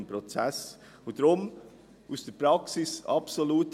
Der Weg, den wir bisher haben, hat sich in der Praxis bewährt.